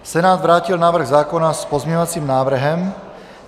Senát vrátil návrh zákona s pozměňovacím návrhem.